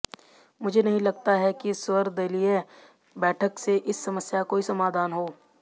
मुझे नहीं लगता है कि सर्वदलीय बैठक से इस समस्या का कोई समाधान हो